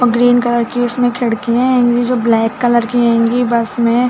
और ग्रीन की उसमे खड़िया हंगी जो ब्लैक कलर हैंगी बस मे--